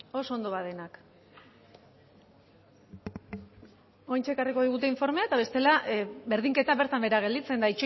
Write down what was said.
oraintxe ekarriko digute informea eta bestela berdinketa bertan behera gelditzen da